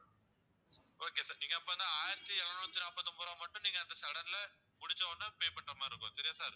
okay sir நீங்க அப்போ வந்து ஆயிரத்தி இருநூத்தி நாப்பத்து ஒன்பது ரூபாய் மட்டும் நீங்க அந்த sudden ல முடிச்ச உடனே pay பண்ற மாதிரி இருக்கும் சரியா sir